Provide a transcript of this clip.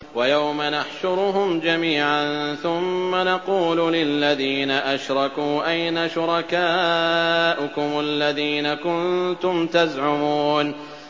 وَيَوْمَ نَحْشُرُهُمْ جَمِيعًا ثُمَّ نَقُولُ لِلَّذِينَ أَشْرَكُوا أَيْنَ شُرَكَاؤُكُمُ الَّذِينَ كُنتُمْ تَزْعُمُونَ